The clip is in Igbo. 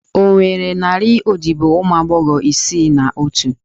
Ọ nwere narị odibo ụmụ agbọghọ isii na otu?